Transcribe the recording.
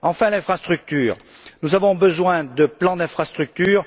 Enfin, concernant l'infrastructure, nous avons besoin de plans d'infrastructure.